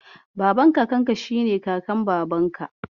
Baban Kakanka shi ne Kakan Babanka.